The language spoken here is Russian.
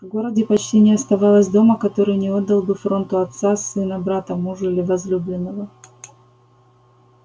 в городе почти не оставалось дома который не отдал бы фронту отца сына брата мужа или возлюбленного